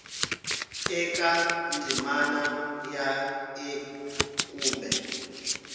eka ndzimana ya a kumbe